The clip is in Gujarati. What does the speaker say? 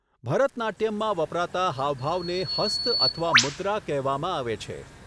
ભરતનાટ્યમમાં વપરાતા હાવભાવને હસ્ત અથવા મુદ્રા કહેવામાં આવે છે.